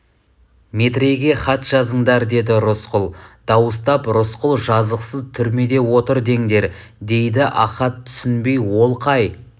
метрейге хат жазыңдар деді рысқұл дауыстап рысқұл жазықсыз түрмеде отыр деңдер дейді ахат түсінбей ол қай